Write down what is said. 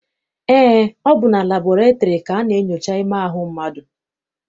Eé, ọ bụ na labọretịrị ka a na-enyocha ime ahụ mmadụ.